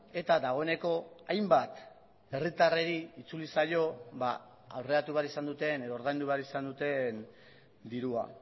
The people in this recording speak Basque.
eta dagoeneko hainbat herritarrei itzuli zaio aurreratu behar izan duten edo ordaindu behar izan duten dirua